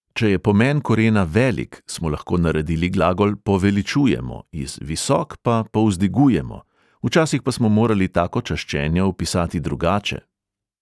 Če je pomen korena velik, smo lahko naredili glagol poveličujemo, iz visok pa povzdigujemo, včasih pa smo morali tako čaščenje opisati drugače.